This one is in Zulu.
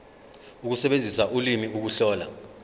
ukusebenzisa ulimi ukuhlola